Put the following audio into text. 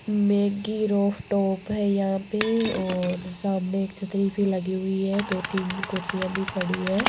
Maggi roof top है यहां पे और सामने एक छतरी सी लगी हुई है दो तीन कुर्सियां भी पड़ी है।